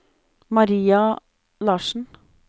Maria Larssen